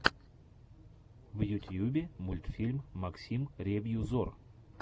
в ютьюбе мультфильм максим ревью зор